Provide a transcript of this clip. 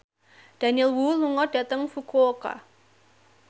Daniel Wu lunga dhateng Fukuoka